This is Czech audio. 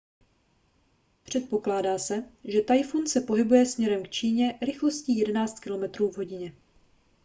předpokládá se že tajfun se pohybuje směrem k číně rychlostí 11 km/h